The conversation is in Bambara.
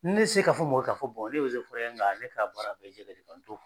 Ne se ka fɔ mɔl ka fɔ ne be se f ŋa ne ka baara bɛ jɛgɛ de kan n t'o f